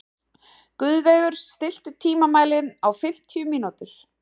Guðveigur, stilltu tímamælinn á fimmtíu mínútur.